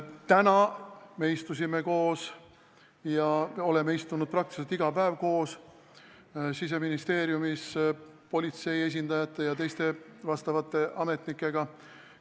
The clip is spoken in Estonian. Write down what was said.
Täna me istusime Siseministeeriumis koos politsei esindajate ja teiste ametnikega, me oleme seda teinud enam-vähem iga päev.